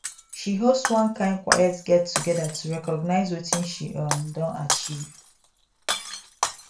she host one kind quiet get together to recognize watin she um don achieve